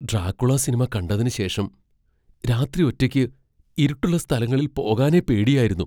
Dracula സിനിമ കണ്ടതിനുശേഷം, രാത്രി ഒറ്റയ്ക്ക് ഇരുട്ടുള്ള സ്ഥലങ്ങളിൽ പോകാനേ പേടിയായിരുന്നു.